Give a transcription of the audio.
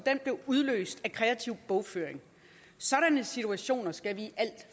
blev udløst af kreativ bogføring sådanne situationer skal vi